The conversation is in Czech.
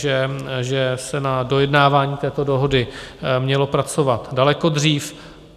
Že se na dojednávání této dohody mělo pracovat daleko dřív.